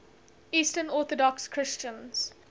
eastern orthodox christians